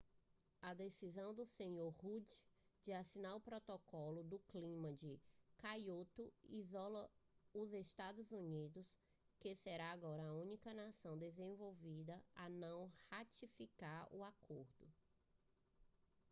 a decisão do senhor rudd de assinar o protocolo do clima de kyoto isola os estados unidos que será agora a única nação desenvolvida a não ratificar o acordo